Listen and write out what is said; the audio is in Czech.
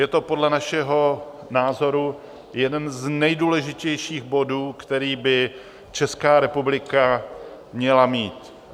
Je to podle našeho názoru jeden z nejdůležitějších bodů, který by Česká republika měla mít.